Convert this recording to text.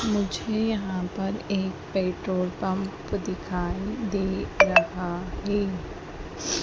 मुझे यहां पर एक पेट्रोल पंप दिखाई दे रहा हैं।